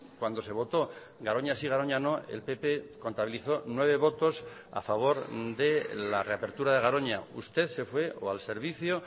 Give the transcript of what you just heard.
cuan do se votó garoña sí garoña no el pp contabilizó nueve votos a favor de la reapertura de garoña usted se fue o al servicio